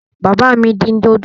Bàbá mi dín dòdò.